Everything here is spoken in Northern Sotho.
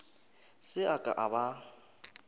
se a ka a ba